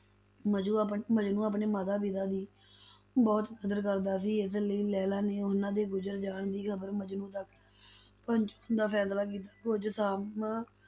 ਮਜਨੂੰ ਆਪਣੇ ਮਜਨੂੰ ਆਪਣੇ ਮਾਤਾ-ਪਿਤਾ ਦੀ ਬਹੁਤ ਕਦਰ ਕਰਦਾ ਸੀ, ਇਸ ਲਈ ਲੈਲਾ ਨੇ ਉਹਨਾਂ ਦੇ ਗੁਜ਼ਰ ਜਾਣ ਦੀ ਖ਼ਬਰ ਮਜਨੂੰ ਤੱਕ ਪਹੁੰਚਾਉਣ ਦਾ ਫ਼ੈਸਲਾ ਕੀਤਾ, ਕੁੱਝ ਸਮਾਂ